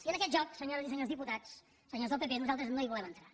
i en aquest joc senyores i senyors diputats senyors del pp nosaltres no hi volem entrar